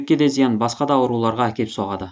бүйрекке де зиян басқа да ауруларға әкеп соғады